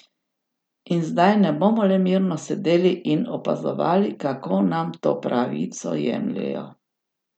In zdaj ne bomo le mirno sedeli in opazovali, kako nam to pravico jemljejo.